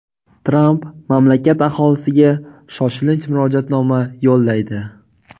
Tramp mamlakat aholisiga shoshilinch murojaatnoma yo‘llaydi.